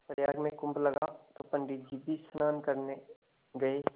प्रयाग में कुम्भ लगा तो पंडित जी भी स्नान करने गये